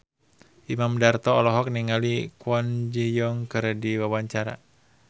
Imam Darto olohok ningali Kwon Ji Yong keur diwawancara